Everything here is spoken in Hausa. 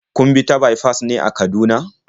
Kun bi ta baifas ne a Kaduna?